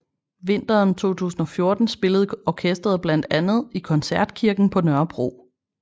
Vinteren 2014 spillede orkesteret bland andet i Koncertkirken på Nørrebro